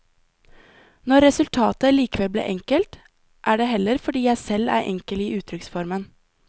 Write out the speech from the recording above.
Når resultatet likevel blir enkelt, er det heller fordi jeg selv er enkel i uttrykksformen.